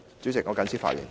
主席，我謹此陳辭。